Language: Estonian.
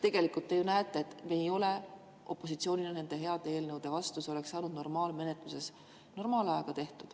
Tegelikult te ju näete, et opositsioonil ei ole nende heade eelnõude vastu midagi, need oleks saanud normaalmenetluses normaalajaga tehtud.